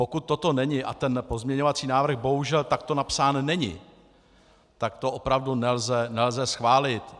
Pokud toto není, a ten pozměňovací návrh bohužel takto napsán není, tak to opravdu nelze schválit.